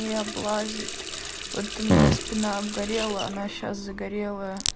и облазит вот у меня спина обгорела она сейчас загорелая